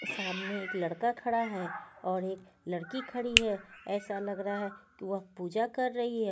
सामने एक लड़का खड़ा है और एक लड़की खड़ी है ऐसा लग रहा है कि वह पूजा कर रही है.